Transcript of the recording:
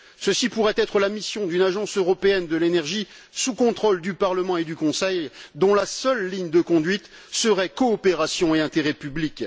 Telle pourrait être la mission d'une agence européenne de l'énergie sous le contrôle du Parlement et du Conseil, dont la seule ligne de conduite serait celle de la coopération et de l'intérêt public.